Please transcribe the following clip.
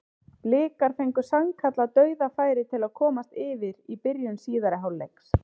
Blikar fengu sannkallað dauðafæri til að komast yfir í byrjun síðari hálfleiks.